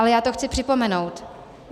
Ale já to chci připomenout.